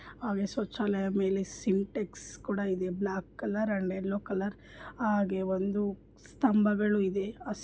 ಹಾಗೆ ಸೌಚಾಲಯ ಮೇಲೆ ಸಿಂಟ್ಯಾಕ್ಸ್ ಕೂಡ ಇದೆ black colour and yellow colour ಹಾಗೆ ಒಂದು ಸ್ತಅಂಬಗಳು ಇದೆ.